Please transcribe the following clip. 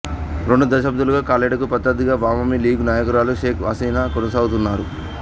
రెండు దశాబ్దాలుగా ఖలేడాకు ప్రత్యర్ధిగా అవామీ లీగ్ నాయకురాలు షేక్ హసీనా కొనసాగుతున్నారు